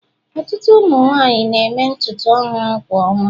ọtụtụ ụmụ nwanyị na-eme ntutu ọhụrụ kwa ọnwa